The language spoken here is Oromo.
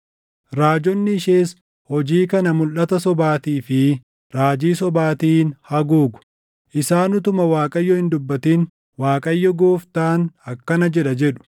Raajonni ishees hojii kana mulʼata sobaatii fi raajii sobaatiin haguugu. Isaan utuma Waaqayyo hin dubbatin, ‘ Waaqayyo Gooftaan akkana jedha’ jedhu.